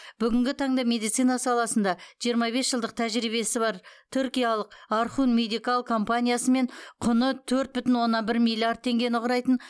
бүгінгі таңда медицина саласында жиырма бес жылдық тәжірибесі бар түркиялық орхун медикал компаниясымен құны төрт бүтін оннан бір миллиард теңгені құрайтын